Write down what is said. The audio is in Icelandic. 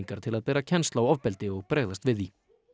til að bera kennsl á ofbeldi og bregðast við því